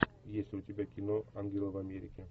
есть ли у тебя кино ангелы в америке